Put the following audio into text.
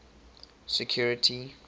security